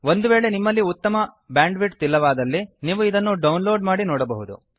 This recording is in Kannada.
ಒಂದು ವೇಳೆ ನಿಮ್ಮಲ್ಲಿ ಒಳ್ಳೆಯ ಬ್ಯಾಂಡ್ ವಿಡ್ತ್ ಇಲ್ಲದಿದ್ದಲ್ಲಿ ನೀವು ಡೌನ್ ಲೋಡ್ ಮಾಡಿ ನೋಡಬಹುದು